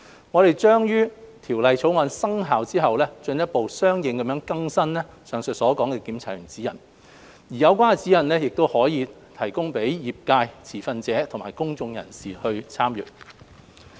我們將於《條例草案》生效後進一步相應更新上述的《檢查員指引》，而有關指引可供業界、持份者和公眾人士參閱。